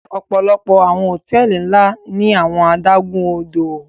Ọpọlọpọ awọn hotẹẹli nla ni awọn adagun-odo